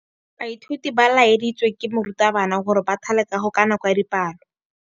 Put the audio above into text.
Baithuti ba laeditswe ke morutabana gore ba thale kagô ka nako ya dipalô.